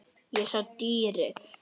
Ég sá dýrið.